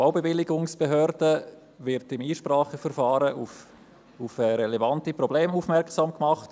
Die Baubewilligungsbehörde wird in einem Einspracheverfahren auf relevante Probleme aufmerksam gemacht.